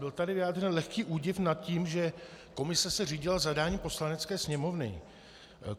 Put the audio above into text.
Byl tady vyjádřen lehký údiv nad tím, že se komise řídila zadáním Poslanecké sněmovny.